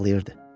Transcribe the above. ağlayırdı.